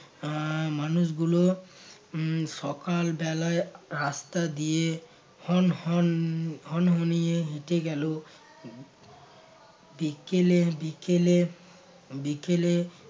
আহ মানুষগুলো উহ সকাল বেলায় রাস্তা দিয়ে হন হন হনহনীয়ে হেঁটে গেলো বিকেলের বিকেলের বিকেলে